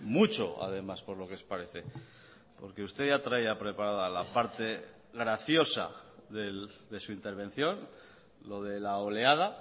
mucho además por lo que parece porque usted ya traía preparada la parte graciosa de su intervención lo de la oleada